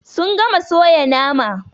Sun gama soya nama.